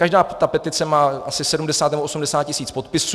Každá ta petice má asi 70 nebo 80 tisíc podpisů.